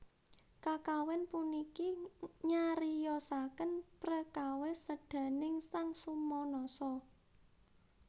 Kakawin puniki nyariyosaken prekawis sédaning sang Sumanasa